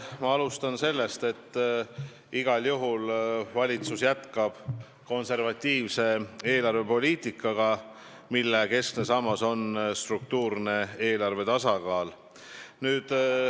Ma alustan sellest, et igal juhul valitsus jätkab konservatiivset eelarvepoliitikat, mille keskne sammas on eelarve struktuurne tasakaal.